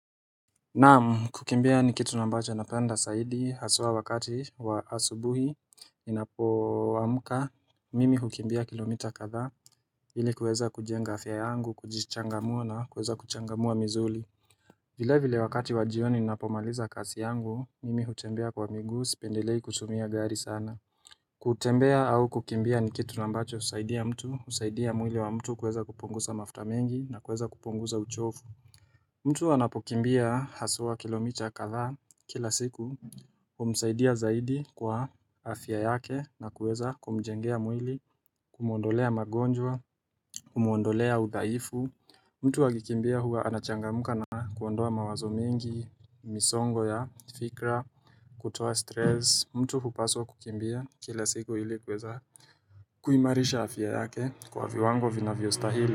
Naam kukimbia ni kitu ambacho napenda zaidi hasa wakati wa asubuhi Ninapo amka mimi hukimbia kilomita kadhaa ili kuweza kujenga afya yangu kujichangamua na kuweza kuchangamua misuli vile vile wakati wa jioni ninapomaliza kazi yangu mimi hutembea kwa miguu sipendelei kutumia gari sana kutembea au kukimbia ni kitu ambacho usaidia mtu usaidia mwili wa mtu kuweza kupunguza mafuta mengi na kuweza kupunguza uchovu mtu wanapokimbia haswa kilomita kadha kila siku kumsaidia zaidi kwa afya yake na kuweza kumjengea mwili kumuondolea magonjwa kumuondolea udhaifu mtu akikimbia huwa anachangamuka na kuondoa mawazo mengi misongo ya fikra kutoa stresi mtu hupaswa kukimbia kila siku ili kuweza kuimarisha afya yake kwa viwango vinavyo stahili.